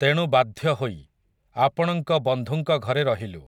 ତେଣୁ ବାଧ୍ୟ ହୋଇ, ଆପଣଙ୍କ ବନ୍ଧୁଙ୍କ ଘରେ ରହିଲୁ ।